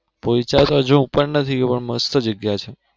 પોઇચા તો હજુ હું પણ નથી ગયો પણ મસ્ત જગ્યા છે.